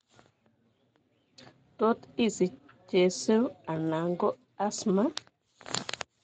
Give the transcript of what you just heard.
Tot isich chesiruu ala ko asthma